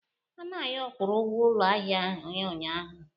Anayo kwụrụ ụgwọ ụlọ ahịa ya ụnyaahụ.